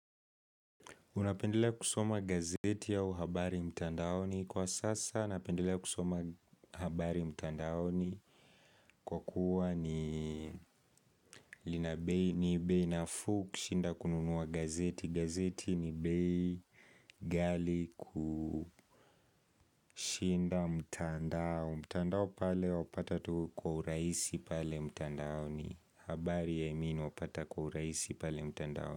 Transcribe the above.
Unapendelea kusoma gazeti au habari mtandaoni kwa sasa napendelea kusoma habari mtandaoni kwa kuwa ni lina bei ni bei nafuu kushinda kununuwa gazeti gazeti ni bei ghali kushinda mtandao mtandao pale wapata tu kwa urahisi pale mtandaoni habari i mean wapata kwa urahisi pale mtandaoni.